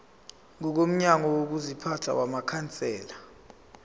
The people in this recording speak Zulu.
ngokomgomo wokuziphatha wamakhansela